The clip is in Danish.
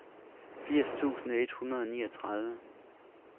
firs tusind et hundrede og niogtredive